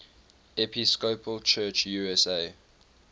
episcopal church usa